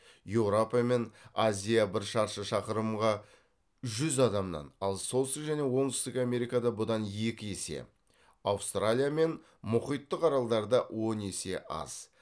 еурапа мен азия бір шаршы шақырымға жүз адамнан ал солтүстік және оңтүстік америкада бұдан екі есе аустралия мен мұхиттық аралдарда он есе аз